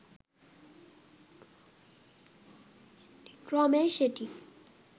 ক্রমেই সেটি